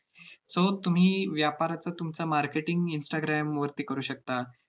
so तुम्ही व्यापाराचं तुमचं marketing instagram वरती करू शकता.